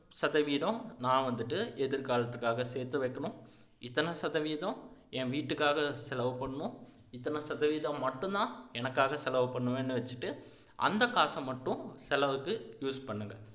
சதவீதம் நான் வந்துட்டு எதிர்காலத்துக்காக சேர்த்து வைக்கணும் இத்தனை சதவீதம் என் வீட்டுக்காக செலவு பண்ணணும் இத்தனை சதவீதம் மட்டும்தான் எனக்காக செலவு பண்ணுவேன்னு வச்சிட்டு அந்த காசை மட்டும் செலவுக்கு use பண்ணுங்க